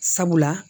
Sabula